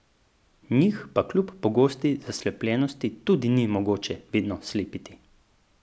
Njih pa kljub pogosti zaslepljenosti tudi ni mogoče vedno slepiti.